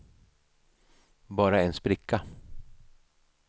bara en spricka